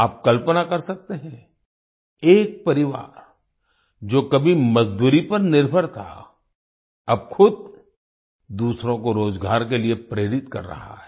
आप कल्पना कर सकते हैं एक परिवार जो कभी मजदूरी पर निर्भर था अब खुद दूसरों को रोजगार के लिए प्रेरित कर रहा है